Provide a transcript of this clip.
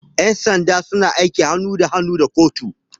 Yan sanda suna aiki hannu da hannu da kotu.